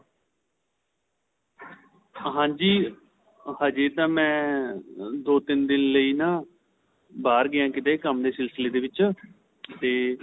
ਹਾਂਜੀ ਅਜੇ ਤਾਂ ਮੈਂ ਦੋ ਤਿੰਨ ਲਈ ਨਾਂ ਬਹਾਰ ਗਿਆ ਆਂ ਕੰਮ ਦੇ ਸਿਲਸਿਲੇ ਦੇ ਵਿੱਚ ਤੇ